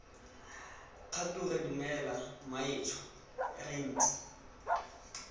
kgature dumela mmaetsho re ntse